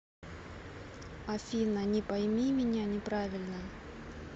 афина не пойми меня неправильно